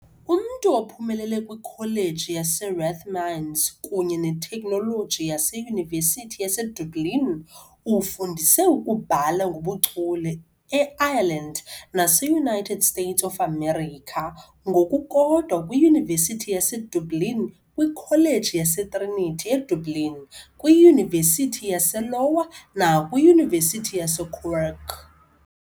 Umntu ophumelele kwiKholeji yaseRathmines kunye neTekhnoloji yeYunivesithi yaseDublin, ufundise ukubhala ngobuchule e-Ireland nase-United States of America, ngokukodwa kwiYunivesithi yaseDublin, kwiKholeji yaseTrinity eDublin, kwiYunivesithi yase-Lowa, nakwiYunivesithi yaseKwerk .